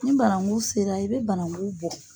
Ni banangu sera i bɛ banangu bɔ.